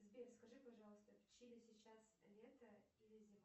сбер скажи пожалуйста в чили сейчас лето или зима